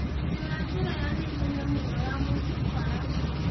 njiĩra njĩra ya naihenya mũno ya mũciĩ Kwa rashid